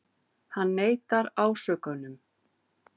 Hann neitar ásökunum